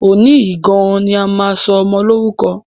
Òní yìí gan-an ni a máa sọ ọmọ Lórúkọ!